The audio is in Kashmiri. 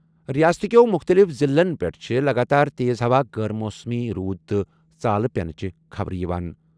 رِیاست کیٚو مُختٔلِف ضِلعن پیٚٹھٕ چھےٚ لَگاتار تیز ہوا، غٲر موسمی روٗد تہٕ ژالہ پیٚنٕچہِ خبرٕ یِوان۔